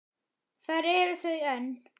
Þar eru þau enn.